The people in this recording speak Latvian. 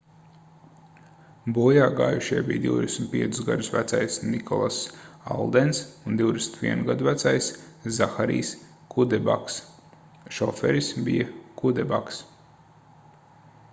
bojāgājušie bija 25 gadus vecais nikolass aldens un 21 gadu vecais zaharijs kudebaks šoferis bija kudebaks